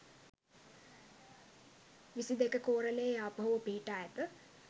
විසි දෙක කෝරළයේ යාපහුව පිහිටා ඇත.